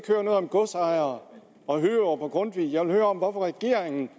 høre noget om godsejere og hørup og grundtvig jeg vil høre hvorfor regeringen